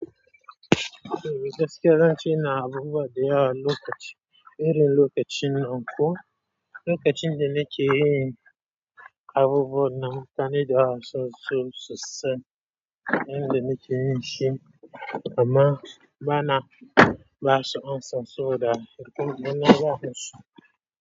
E, gaskiya zance ina abubuwa da yawa wani lokaci, iri lokacin nanko. Lokacin da nakeyin abubuwan mutane da yawa suna so susan yanda nake yinshi amma bana ba su an san saboda hukunci na wahalsu.